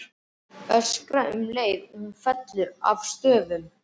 Öskra um leið og hún fellur að stöfum.